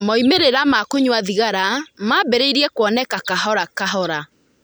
Moimĩrĩro ma kũnyua thigara maambĩrĩirie kuoneka kahora kahora.